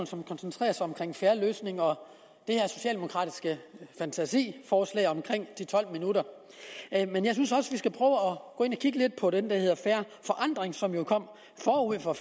som koncentrerer sig om en fair løsning og det her socialdemokratiske fantasiforslag om de tolv minutter men jeg synes også vi skal prøve og kigge lidt på den plan der hedder fair forandring som jo kom forud for